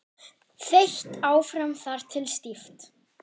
Þeytt áfram þar til stíft.